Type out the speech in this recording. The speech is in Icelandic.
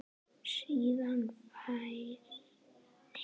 Síðan færi hann í rútuna.